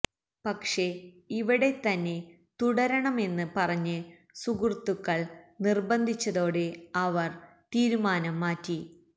പക്ഷെ ഇവിടെത്തന്നെ തുടരണമെന്ന് പറഞ്ഞ് സുഹൃത്തുക്കള് നിര്ബന്ധിച്ചതോടെ അവര് തീരുമാനം മാറ്റി